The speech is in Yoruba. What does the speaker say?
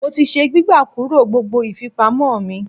Mo ti se gbígbà kúrò gbogbo ìfipamọ́ mi.